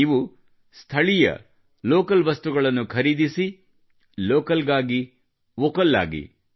ನೀವು ಲೋಕಲ್ ವಸ್ತುಗಳನ್ನು ಖರೀದಿಸಿ ಲೋಕಲ್ ಗಾಗಿ ವೊಕಲ್ ಆಗಿ